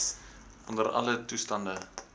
onder alle toestande